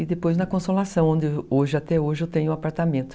E depois na Consolação, onde hoje até hoje eu tenho um apartamento.